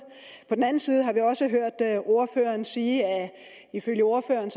på den anden side har vi også hørt ordføreren sige at ifølge ordføreren